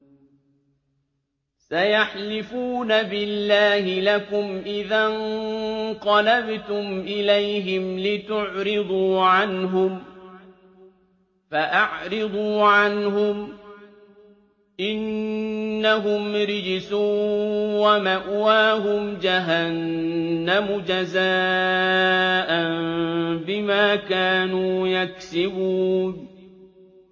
سَيَحْلِفُونَ بِاللَّهِ لَكُمْ إِذَا انقَلَبْتُمْ إِلَيْهِمْ لِتُعْرِضُوا عَنْهُمْ ۖ فَأَعْرِضُوا عَنْهُمْ ۖ إِنَّهُمْ رِجْسٌ ۖ وَمَأْوَاهُمْ جَهَنَّمُ جَزَاءً بِمَا كَانُوا يَكْسِبُونَ